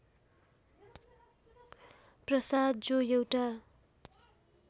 प्रसाद जो एउटा